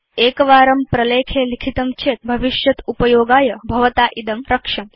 एकवारं प्रलेखे लिखितं चेत् भविष्यदुपयोगाय भवता इदं रक्ष्यम्